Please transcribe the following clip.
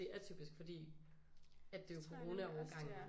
Det er atypisk fordi det jo er coronaårgangen